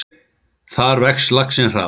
Þar vex laxinn hraðar.